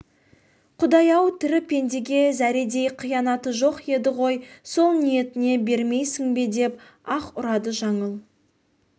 құдай-ау тірі пендеге зәредей қиянаты жоқ еді ғой сол ниетіне бермейсің бе деп аһ ұрады жаңыл